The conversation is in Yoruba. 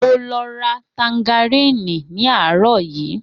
Mo lọ ra tangaríní ní àárò yìí.